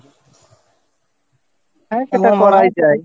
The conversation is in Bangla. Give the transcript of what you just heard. হ্যাঁ এটা করাই যায়